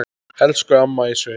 Elsku amma í sveit.